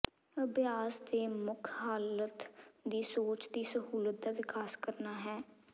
ਅਭਿਆਸ ਦੇ ਮੁੱਖ ਹਾਲਤ ਦੀ ਸੋਚ ਦੀ ਸਹੂਲਤ ਦਾ ਵਿਕਾਸ ਕਰਨਾ ਹੈ